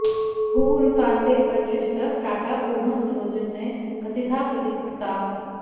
हूहू रुतान्ते परतश्च टाटा पूर्णः स्वरोऽन्ये कथिताः प्रदीप्ताः